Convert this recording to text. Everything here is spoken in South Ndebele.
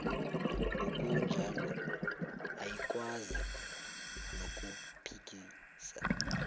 ngokunjalo ayikwazi nokuphikisa